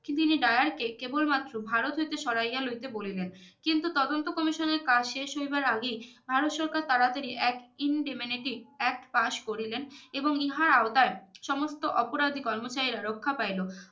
তিনি dayar কে কেবল মাত্র ভারত হইতে সরাইয়া লইতে বলিলেন কিন্তু তদন্ত commissioner এর কাজ শেষ হইবার আগেই ভারত সরকার তারাতারী এক indemnity act পাশ করিলেন এবং ইহার আওতায় সমস্ত অপরাধি কর্মোচারিরা রক্ষা পাইলো